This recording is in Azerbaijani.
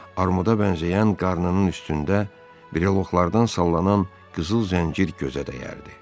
Armuda bənzəyən qarnının üstündə breloxlardan sallanan qızıl zəncir gözə dəyərdi.